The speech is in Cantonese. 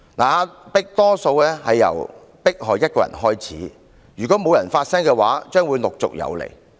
壓迫多數由迫害一個人開始，如果沒有人發聲，將會陸續有來。